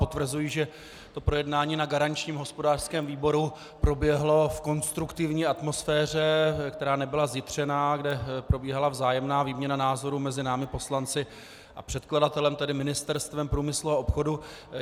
Potvrzuji, že to projednání v garančním hospodářském výboru proběhlo v konstruktivní atmosféře, která nebyla zjitřená, kde probíhala vzájemná výměna názorů mezi námi poslanci a předkladatelem, tedy Ministerstvem průmyslu a obchodu.